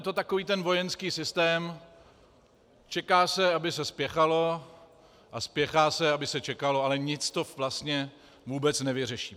Je to takový ten vojenský systém - čeká se, aby se spěchalo, a spěchá se, aby se čekalo, ale nic to vlastně vůbec nevyřeší.